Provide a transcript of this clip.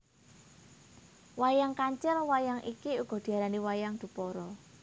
Wayang KancilWayang iki uga diarai wayang Dupara